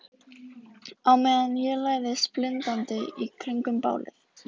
Á meðan ég læðist blindandi í kringum bálið.